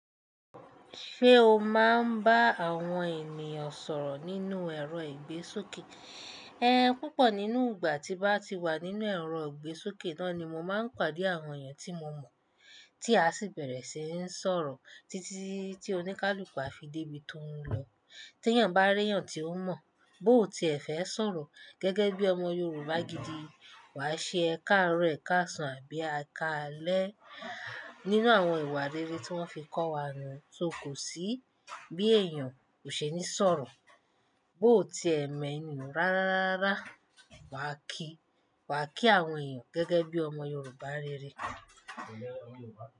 Ṣé o máa ń bá àwọn ènìyàn sọ̀rọ̀ nínú ẹ̀rọ ìgbésókè? Ẹ́n, púpọ̀ nínú ìgbà tí bá ti wà nínú ẹ̀rọ ìgbésókè náà ni mo máa ń pàdé àwọn ènìyàn tí mo mọ̀, tí a sì bẹ̀rẹ̀ síi ń sọ̀rọ̀ títí tí oníkálukú á fi dé ibi tó ń lọ. Tí èèyàn bá rí èèyàn tí ó mọ̀, bó ti ẹ fẹ́ sọ̀rọ̀, gẹ́gẹ́ bí ọmọ Yorùbá gidi, wà á ṣe "Ẹ káàárọ̀, ẹ káàsan" àbí "Ẹ káalẹ́" nínú àwọn ìwà rere tí wọ́n fi kọ́ wa nu tó kò sí bí èèyàn kò ṣe ní sọ̀rọ̀. Bó ti ẹ eniyan rárá rárá, wà á kí, wà á kí àwọn èèyàn gẹ́gẹ́ bí ọmọ Yorùbá rere.